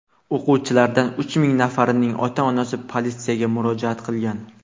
O‘quvchilardan uch nafarining ota-onasi politsiyaga murojaat qilgan.